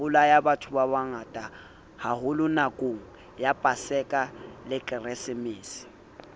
bolayabathobabangata haholonakongya paseka le keresemese